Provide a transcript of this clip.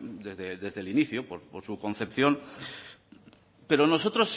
desde el inicio por su concepción pero nosotros